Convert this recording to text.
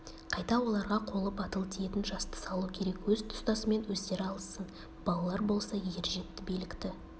қайта оларға қолы батыл тиетін жасты салу керек өз тұстасымен өздері алыссын балалар болса ержетті билікті